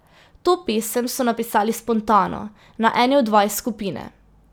To pesem so napisali spontano, na eni od vaj skupine.